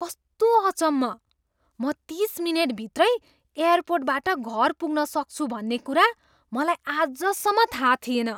कस्तो अचम्म! म तिस मिनेटभित्रै एयरपोर्टबाट घर पुग्न सक्छु भन्ने कुरा मलाई आजसम्म थाहा थिएन।